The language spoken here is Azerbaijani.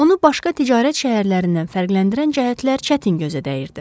Onu başqa ticarət şəhərlərindən fərqləndirən cəhətlər çətin gözə dəyirdi.